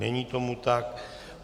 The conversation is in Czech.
Není tomu tak.